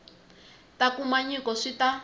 ta kuma nyiko swi ta